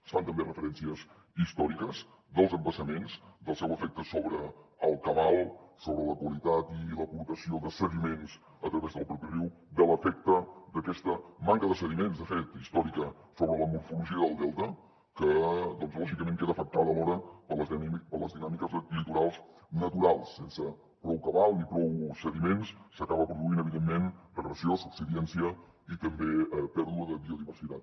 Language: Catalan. es fan també referències històriques dels embassaments del seu efecte sobre el cabal sobre la qualitat i l’aportació de sediments a través del propi riu de l’efecte d’aquesta manca de sediments de fet històrica sobre la morfologia del delta que doncs lògicament queda afectada alhora per les dinàmiques litorals naturals sense prou cabal ni prou sediments s’acaba produint evidentment regressió subsidència i també pèrdua de biodiversitat